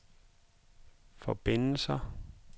forbindelser